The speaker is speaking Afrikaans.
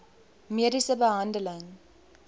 mediese behandeling